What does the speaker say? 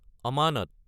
অমানত